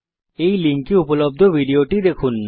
এই লিঙ্কে উপলব্ধ ভিডিওটি দেখুন